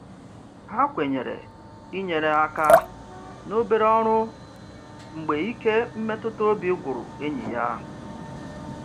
Ha kwenyere inyere aka n'obere ọrụ mgbe ike mmetụtaobi gwụrụ enyi ya.